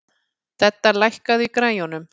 Dedda, lækkaðu í græjunum.